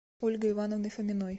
ольгой ивановной фоминой